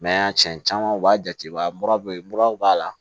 cɛn caman u b'a jate mura be muraw b'a la